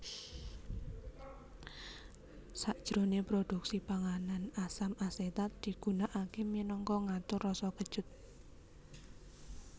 Sajroné produksi panganan asam asetat digunakaké minangka ngatur rasa kecut